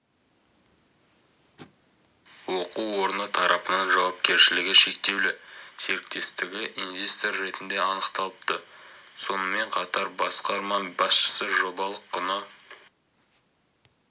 оқу орны тарапынан жауапкершілігі шектеулі серіктестігі инвестор ретінде анықталыпты сонымен қатар басқарма басшысы жобалық құны